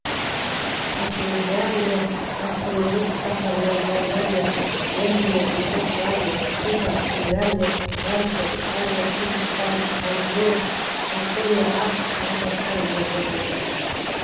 ахмедиярұлы гастрольдік сапармен болгария венгрия югославия куба финляндия франция италия үндістан ангола жапония ақш тағы басқа елдерде болды